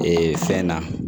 Ee fɛn na